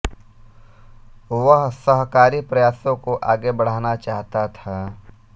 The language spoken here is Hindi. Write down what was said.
वह सहकारी प्रयासों को आगे बढ़ाना चाहता था